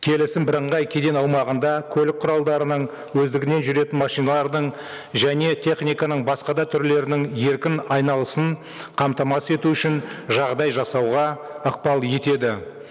келісім бірыңғай кеден аумағында көлік құралдарының өздігінен жүретін машиналардың және техниканың басқа да түрлерінің еркін айналысын қамтамасыз ету үшін жағдай жасауға ықпал етеді